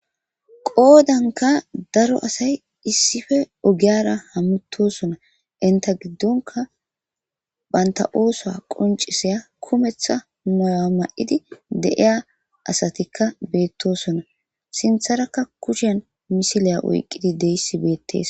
Qodanka daro asay isippe ogiyara hamutosona. Enta gidonkka banta ossuwa qoncisiza kumeththa mayo mayidi de7iya asatikka betosona. Sinththeraka kushen misilliya oyqidi de7izays betes.